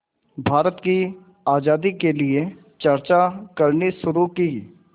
भारत की आज़ादी के लिए चर्चा करनी शुरू की